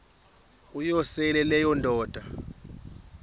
uyosele leyo indoda